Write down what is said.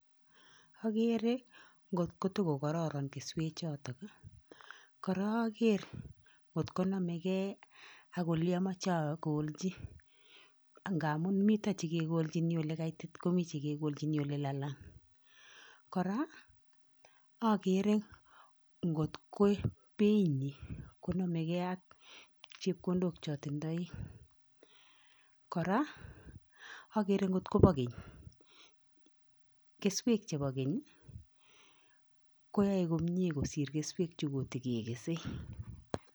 Agere ngotko tugo kororon keswe choton. Kora ager ngotko nome gey ak woli amache akolchi, ngamun mito chikekolchini oli kaitit komi chekikolchini oli lalang. Kora agere ngotko bei nyin konome gei ak chepkondok che atindoi. Kora agere ngotko bo keny . keswek che bo keny koyai komyen kosir keswek chegigo kesei.